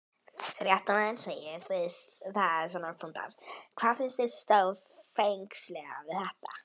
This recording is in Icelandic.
Fréttamaður: Hvað finnst þér stórfenglegast við þetta?